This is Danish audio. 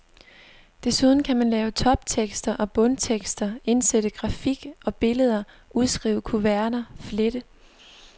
Desuden kan man lave toptekster og bundtekster, indsætte grafik og billeder, udskrive kuverter, flette.